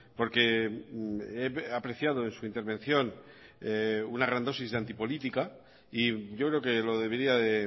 porque he apreciado en su intervención una gran dosis de antipolítica y yo creo que lo debería de